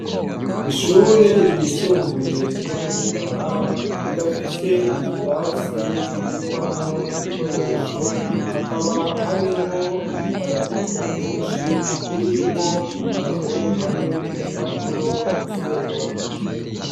Ishure ryisumbuye ryo mu Rutana, rirafise ikirasi kibikwamwo ibikoresho, hakaba harimwo ibikarato vyinshi, birimwo ibitabo hamwe n'impapuro bakosorerako.